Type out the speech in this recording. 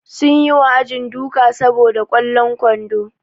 Sun yi wa ajin duka saboda kwallon kwando.